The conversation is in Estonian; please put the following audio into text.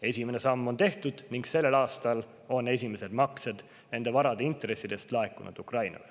Esimene samm on tehtud ning sel aastal laekusid esimesed maksed nende varade intressidest Ukrainale.